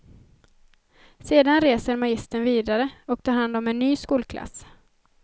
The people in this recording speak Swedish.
Sedan reser magistern vidare, och tar hand om en ny skolklass.